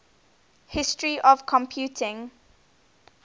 history of computing